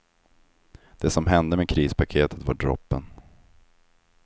Det som hände med krispaketet var droppen.